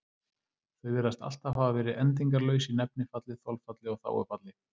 Þau virðast alltaf hafa verið endingarlaus í nefnifalli, þolfalli og þágufalli.